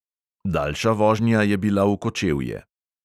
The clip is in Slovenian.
Daljša vožnja je bila v kočevje.